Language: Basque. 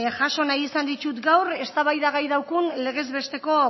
jaso nahi izan dittut gaur eztabaidagai daukaun legez besteko